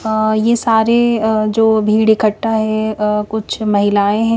अ ये सारे अ जो भीड़ इखट्टा है अ कुछ महिलायें --